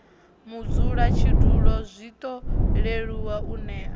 mudzulatshidulo zwiṱo leluwa u nea